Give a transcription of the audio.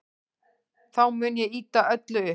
Þá mun ég ýta öllu upp.